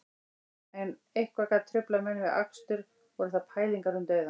Ef eitthvað gat truflað menn við akstur voru það pælingar um dauðann